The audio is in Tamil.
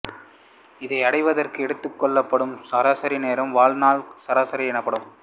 இதை அடைவதற்கு எடுத்துக்கொள்ளப்படும் சராசரி நேரம் வாழ்நாள் சராசரி எனப்படும்